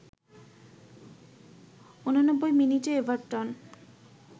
৮৯ মিনিটে এভারটন